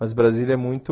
Mas Brasília é muito...